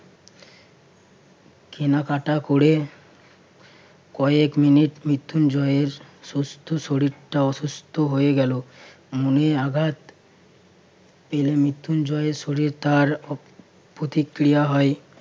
কেনাকাটা করে কয়েক মিনিট মৃত্যুঞ্জয়ের সুস্থ শরীরটা অসুস্থ হয়ে গেল। মনে আঘাত পেলে মৃত্যুঞ্জয়ের শরীরে তার প্রতিক্রিয়া হয়।